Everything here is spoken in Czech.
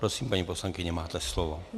Prosím, paní poslankyně, máte slovo.